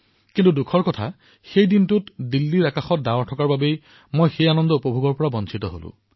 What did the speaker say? কিন্তু দুখৰ কথা এয়ে যে সেইদিনা দিল্লীৰ আকাশত মেঘাচ্ছন্ন হৈ আছিল আৰু সেই আনন্দ মই উপভোগ কৰিব নোৱাৰিলো